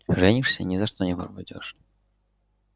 женишься ни за что пропадёшь